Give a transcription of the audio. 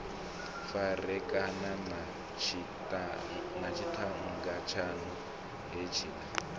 farekana na tshiṱhannga tshaṋu hetshiḽa